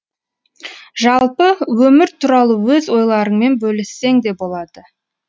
жалпы өмір туралы өз ойларыңмен бөліссең де болады